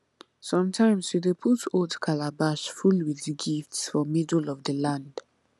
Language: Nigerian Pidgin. sometimes we dey put old calabash full with gifts for middle of the land